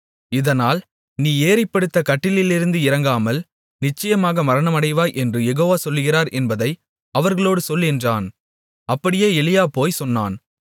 இதனால் நீ ஏறிப்படுத்த கட்டிலிலிருந்து இறங்காமல் நிச்சயமாக மரணமடைவாய் என்று யெகோவா சொல்லுகிறார் என்பதை அவர்களோடே சொல் என்றான் அப்படியே எலியா போய்ச் சொன்னான்